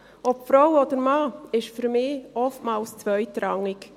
Ob Frau oder Mann, dies ist für mich oftmals zweitrangig.